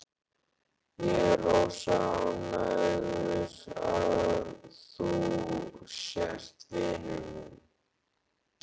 Ég er rosa ánægður að þú sért vinur minn.